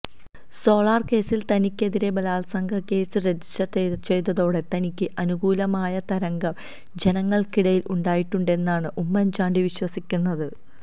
solar കേസിൽ തനിക്കെതിരെ ബലാത്സംഗക്കേസ് register ചെയ്തതോടെ തനിക്ക് അനുകൂലമായ തരംഗം ജനങ്ങൾക്കിടയിൽ ഉണ്ടായിട്ടുണ്ടെന്നാണ് ഉമ്മൻചാണ്ടി വിശ്വസിക്കുന്നത്